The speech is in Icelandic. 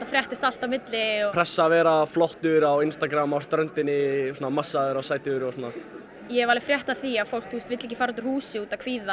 fréttist allt á milli pressa að vera flottur á Instragram á ströndinni massaður og sætur ég hef alveg frétt af því að fólk vill ekki fara út úr húsi út af kvíða